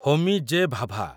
Homi J. Bhabha